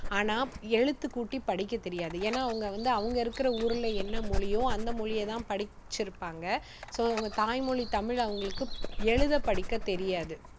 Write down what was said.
ஆனா எழுத்துக்கூட்டி படிக்க தெரியாது. ஏன்னா அவங்க வந்து அவங்க இருக்குற ஊர்ல என்ன மொழியோ அந்த மொழியை தான் படிச்சிருப்பாங்க. so அவங்க தாய்மொழி தமிழ் அவங்களுக்கு எழுதப் படிக்கத் தெரியாது.